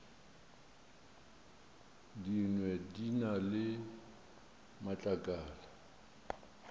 dingwe di na le matlakala